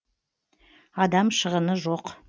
адам шығыны жоқ